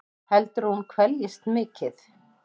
Heldurðu að hún kveljist mikið?